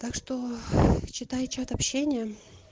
так что читай чат общение